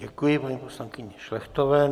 Děkuji paní poslankyni Šlechtové.